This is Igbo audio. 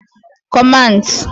Commands